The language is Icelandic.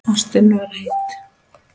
Ástin var heit.